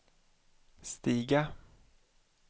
stiga